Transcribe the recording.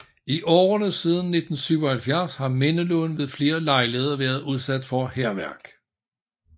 I årene siden 1977 har mindelunden ved flere lejligheder været udsat for hærværk